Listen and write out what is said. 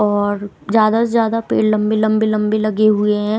और ज्यादा से ज्यादा पेड़ लंबे लंबे लंबे लगे हुए हैं।